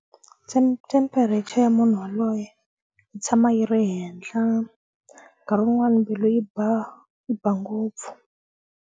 temperature ya munhu waloye yi tshama yi ri henhla nkarhi wun'wani mbilu yi ba yi ba ngopfu.